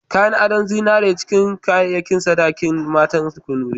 Kayan ado na zinare na cikin kayayyakin sadaki na matan Kanuri.